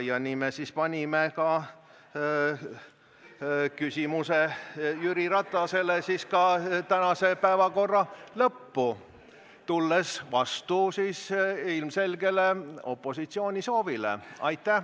Me siis panimegi küsimuse Jüri Ratasele ka tänase päevakorra lõppu, tulles vastu opositsiooni soovile.